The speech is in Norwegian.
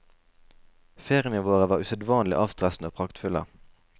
Feriene våre var usedvanlig avstressende og praktfulle.